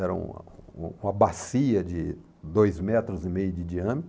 Era uma uma bacia de dois metros e meio de diâmetro.